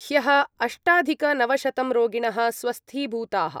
ह्यः अष्टाधिकनवशतं रोगिणः स्वस्थीभूताः।